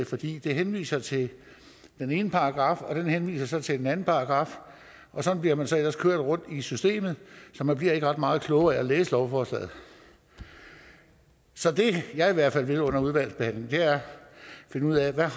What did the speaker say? fordi det henviser til den ene paragraf og den henviser så til den anden paragraf og sådan bliver man så ellers kørt rundt i systemet så man bliver ikke ret meget klogere af at læse lovforslaget så det jeg i hvert fald vil under udvalgsbehandlingen er at finde ud af hvad